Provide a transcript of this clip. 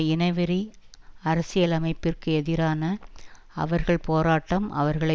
இனவெறி அரசியலமைப்பிற்கு எதிரான அவர்கள் போராட்டம் அவர்களை